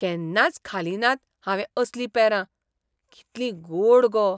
केन्नाच खालीं नात हांवें असलीं पेरां. कितलीं गोड गो!